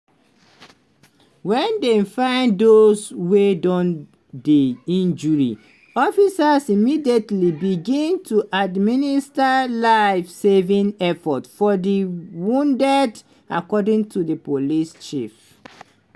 wen dem find dose wey don dey injured officers immediately begin to administer "life-saving efforts" for di wounded according to di police chief.